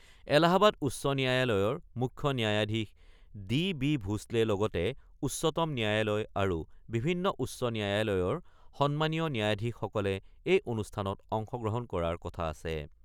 এলাহাবাদ উচ্চ ন্যায়ালয়ৰ মুখ্য ন্যায়াধীশ ডি বি ভোছলেৰ লগতে উচ্চতম ন্যায়ালয় আৰু বিভিন্ন উচ্চ ন্যায়ালয়ৰ সন্মানীয় ন্যায়াধীশসকলে এই অনুষ্ঠানত অংশগ্ৰহণ কৰাৰ কথা আছে।